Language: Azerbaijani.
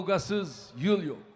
Kavqasız il yox.